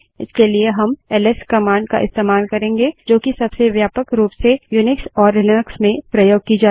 इसके लिए हम एलएस कमांड का इस्तेमाल करेंगे जो कि सबसे व्यापक रूप से यूनिक्स और लिनक्स में प्रयोग की जाती है